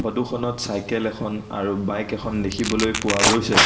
Photo খনত cycle এখন আৰু বাইক এখন দেখিবলৈ পোৱা গৈছে।